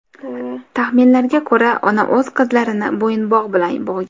Taxminlarga ko‘ra, ona o‘z qizlarini bo‘yinbog‘ bilan bo‘g‘gan.